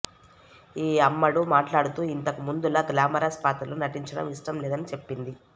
ఈ అమ్మడు మాట్లాడుతూ ఇంతకుముందులా గ్లామరస్ పాత్రల్లో నటించడం ఇష్టం లేదని చెప్పింది